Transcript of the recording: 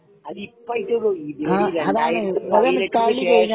അതിപ്പോ ആയിട്ടേ ഉള്ളു ഇതുവരെ 2018 നു ശേഷം